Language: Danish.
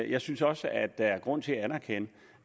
jeg synes også at der er grund til at anerkende